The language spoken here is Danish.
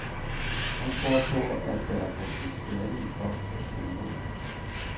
Han tror på, at der er potentiale i folk til at stå imod.